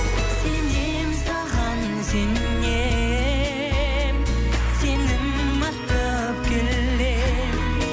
сенемін саған сенемін сенім артып келемін